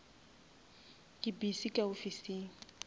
ke le busy ka ofising